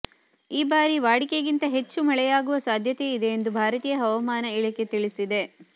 ಈ ಬಾರಿ ವಾಡಿಕೆಗಿಂತ ಹೆಚ್ಚು ಮಳೆಯಾಗುವ ಸಾಧ್ಯತೆ ಇದೆ ಎಂದು ಭಾರತೀಯ ಹವಾಮಾನ ಇಲಾಖೆ ತಿಳಿಸಿದೆ